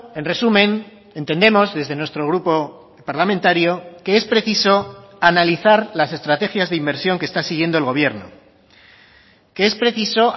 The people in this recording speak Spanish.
en resumen entendemos desde nuestro grupo parlamentario que es preciso analizar las estrategias de inversión que está siguiendo el gobierno que es preciso